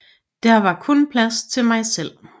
Der var kun plads til mig selv